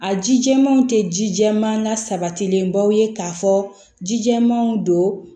A ji jɛmanw tɛ ji jɛman la sabatilenbaw ye k'a fɔ ji jɛmanw don